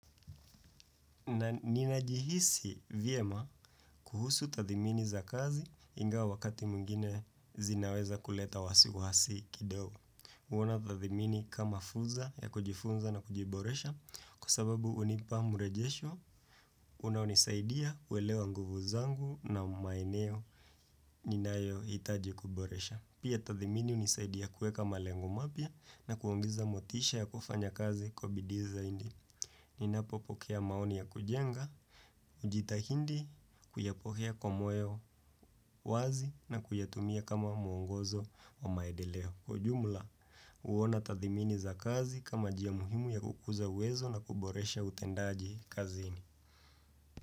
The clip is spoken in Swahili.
Na ninajihisi vyema kuhusu tathimini za kazi ingawa wakati mwingine zinaweza kuleta wasiwasi kidogo. Kuona tathimini kama fuza ya kujifunza na kujiboresha kwa sababu hunipa murejesho unaonisaidia kuelewa nguvu zangu na maeneo ninayohitaji kuboresha. Pia tathimini unisaidia kueka maleng mapya na kuongeza motisha ya kufanya kazi kwa bidii zaidi. Ninapopokea maoni ya kujenga, najitahidi kuyapokea kwa moyo wazi na kuyatumia kama mwongozo wa maendeleo kwa jumla kuona tathimini za kazi kama njia muhimu ya kukuza uwezo na kuboresha utendaji kazini.